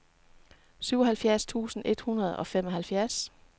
syvoghalvfjerds tusind et hundrede og femoghalvfjerds